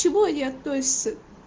чему они относятся